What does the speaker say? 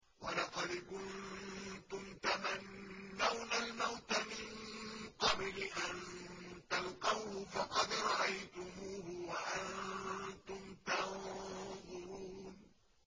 وَلَقَدْ كُنتُمْ تَمَنَّوْنَ الْمَوْتَ مِن قَبْلِ أَن تَلْقَوْهُ فَقَدْ رَأَيْتُمُوهُ وَأَنتُمْ تَنظُرُونَ